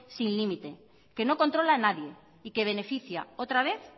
sin límite que no controla nadie y que beneficia otra vez